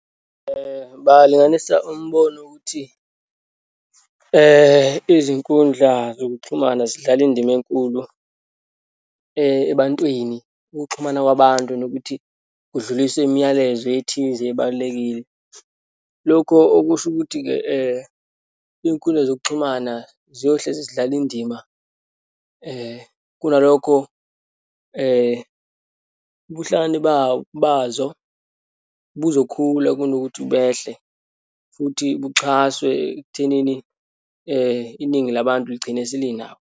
Bangalinganisa umbono ukuthi izinkundla zokuxhumana zidlala indima enkulu ebantwini, ukuxhumana kwabantu, nokuthi kudluliswe imiyalezo ethize ebalulekile. Lokho okusho ukuthi-ke iyinkundla zokuxhumana ziyohlezi zidlala indima kunalokho ubuhlakani bazo buzokhula, kunokuthi behle, futhi buxhaswe ekuthenini iningi labantu ligcine selinabo.